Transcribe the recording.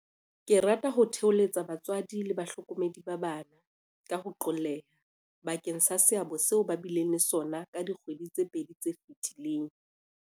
Ke rata ho thoholetsa batswadi le bahlokomedi ba bana, ka ho qolleha, bakeng sa seabo seo ba bileng le sona ka dikgwedi tse pedi tse fetileng.